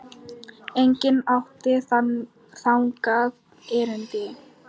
Enginn átti þangað erindi.